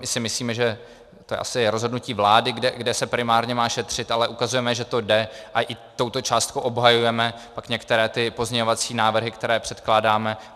I si myslíme, že to je asi rozhodnutí vlády, kde se primárně má šetřit, ale ukazujeme, že to jde, a i touto částkou obhajujeme pak některé ty pozměňovací návrhy, které předkládáme.